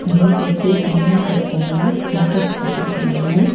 Stand போட்டு தண்ணி set பண்ணி சின்டெக்ஸ் வெச்சிருக்காங்க.